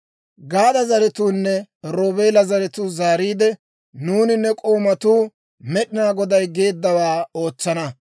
Gaada zaratuunne Roobeela zaratuu zaariide, «Nuuni ne k'oomatuu Med'inaa Goday geeddawaa ootsana.